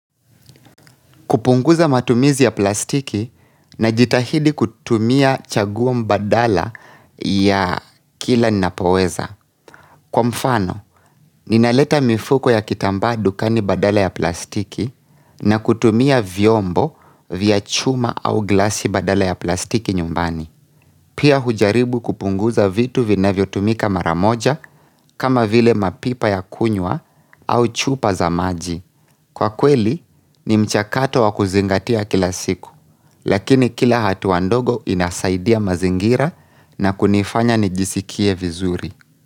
Kupunguza matumizi ya plastiki najitahidi kutumia chaguo mbadala ya kila nina poweza. Kwa mfano, ninaleta mifuko ya kitamba dukani badala ya plastiki na kutumia vyombo vya chuma au glasi badala ya plastiki nyumbani. Pia hujaribu kupunguza vitu vinavyo tumika mara moja kama vile mapipa ya kunywa au chupa za maji. Kwa kweli, ni mchakato wakuzingatia kila siku, lakini kila hatua ndogo inasaidia mazingira na kunifanya nijisikie vizuri.